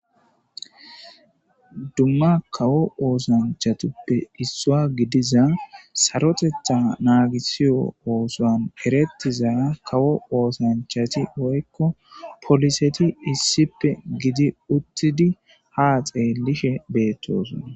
Dumma kawo oosanchatuppe issua gidiza sarotetha naagisiyo oosoan eretizaa kawo oosanchati woykko poliseti issippe gidi uttidi ha xeelishe beettosona.